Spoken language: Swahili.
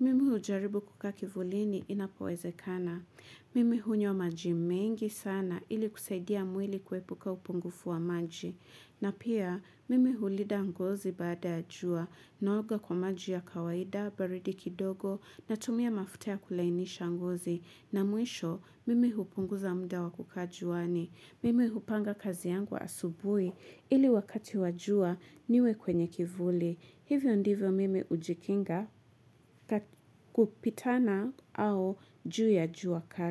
Mimi hujaribu kukaa kivulini inapowezekana. Mimi hunywa majimengi sana ili kusaidia mwili kuepuka upungufu wa maji. Na pia mimi hulinda ngozi baada ya jua naoga kwa maji ya kawaida, baridi kidogo na tumia mafutia ya kulainisha ngozi. Na mwisho mimi hupunguza mda wa kukaa juani. Mimi hupanga kazi yangu wa asubuhi ili wakati wajua niwe kwenye kivuli. Hivyo ndivyo mimi hujikinga kupitana au juu ya jua kali.